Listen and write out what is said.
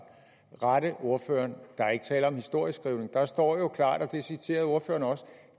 rette ordføreren der er ikke tale om historieskrivning der står jo klart og det citerede ordføreren også